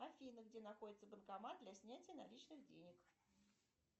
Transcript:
афина где находится банкомат для снятия наличных денег